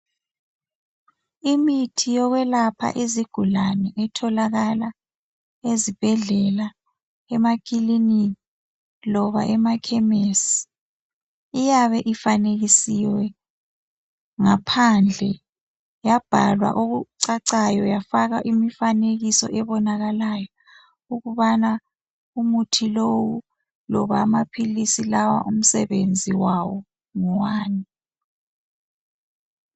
Imithi yokwelapha izigulane etholakala ezibhedlela emakilinika loba emakhemesi iyabe ifanekisiwe ngaphandle yabhalwa okucacayo yafakwa imifanekiso ebonakalayo ukubana umuthi lowu loba amaphilisi lawa umsebenzi wawo ngowani.